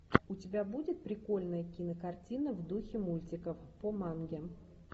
у тебя будет прикольная кинокартина в духе мультиков по манге